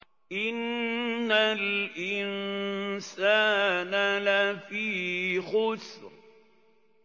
إِنَّ الْإِنسَانَ لَفِي خُسْرٍ